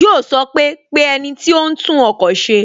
Yo sọ pé "Pe ẹniti ó ń tún ọkọ̀ se"